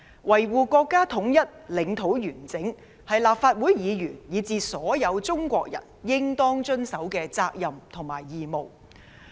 維護國家統一，領土完整，是所有立法會議員，以至所有中國人應當履行的責任和義務。